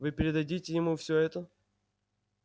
вы передадите ему все это